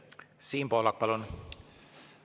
Siim Pohlak, palun!